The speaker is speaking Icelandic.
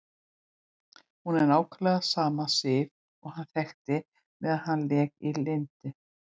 Hún er nákvæmlega sama Sif og hann þekkti meðan allt lék í lyndi.